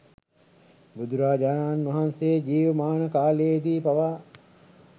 බුදුරජාණන් වහන්සේ ජීවමාන කාලයේදී පවා